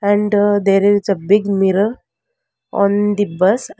And there is a big mirror on the bus an --